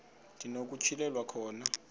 ndi nokutyhilelwa khona